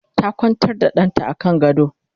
ta Kwantar da ɗanta a kan gado